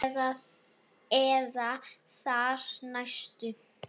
Eða þar næstu?